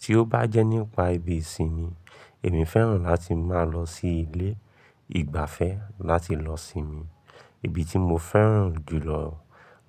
Tí ó bá jẹ́ nípa ibi ìsinmi, èmi fẹ́ràn láti máa lọ sí ilé ìgbafẹ́ láti lọ sinmi. Ibi tí mo fẹ́ràn jùlọ